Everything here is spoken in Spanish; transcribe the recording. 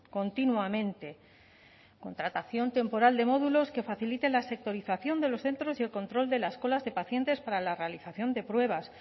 continuamente contratación temporal de módulos que faciliten la sectorización de los centros y el control de las colas de pacientes para la realización de pruebas